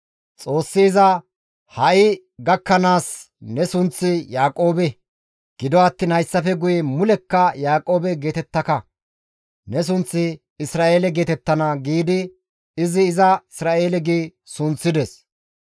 Xoossi iza, «Ha7i gakkanaas ne sunththi Yaaqoobe; gido attiin hayssafe guye mulekka Yaaqoobe geetettaka; ne sunththi Isra7eele geetettana» giidi izi iza Isra7eele gi sunththides.